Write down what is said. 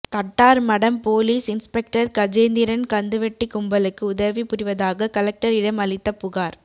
Thattarmadam police inspector Gajendran கந்துவட்டி கும்பலுக்கு உதவி புரிவதாக கலெக்டரிடம் அளித்த புகார்